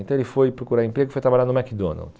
Então ele foi procurar emprego e foi trabalhar no McDonald's.